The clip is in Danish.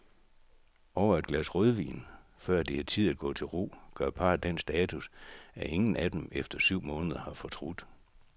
Over et glas rødvin, før det er tid at gå til ro, gør parret den status, at ingen af dem efter syv måneder har fortrudt.